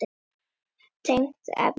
Tengt efni